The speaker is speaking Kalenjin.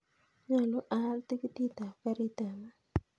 Nyolu aal tikitit ap karit ap maat